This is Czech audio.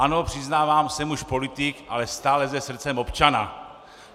Ano, přiznávám, jsem už politik, ale stále se srdcem občana.